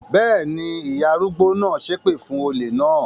Bẹ́ẹ̀ ni, ìyá arúgbó náà ṣépè fún olè náà.